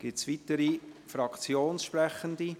Gibt es weitere Fraktionssprechende?